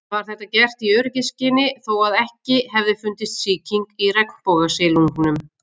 Var þetta gert í öryggisskyni þó að ekki hefði fundist sýking í regnbogasilungnum.